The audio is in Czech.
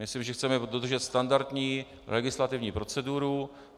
Myslím, že chceme dodržet standardní legislativní proceduru.